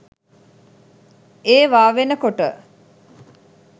ඒවා වෙනකොට